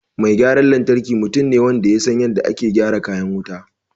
Mai gyaran lantarki mutum ne wanda ya san yadda ake gyara kayan wuta